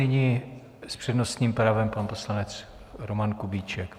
Nyní s přednostním právem pan poslanec Roman Kubíček.